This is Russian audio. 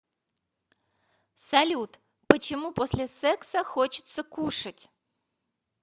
салют почему после секса хочется кушать